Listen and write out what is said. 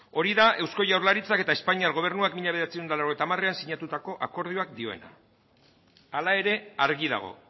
hori da eusko jaurlaritzak eta espainiar gobernuak mila bederatziehun eta laurogeita hamarean sinatutako akordioak dioena hala ere argi dago